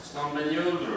İslam bəy, niyə öldürürdün?